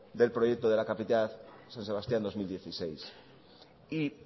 del proyecto de la capitalidad san sebastián dos mil dieciséis y